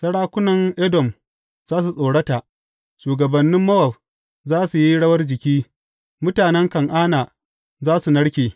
Sarakunan Edom za su tsorata, shugabannin Mowab za su yi rawar jiki, mutanen Kan’ana za su narke.